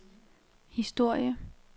historie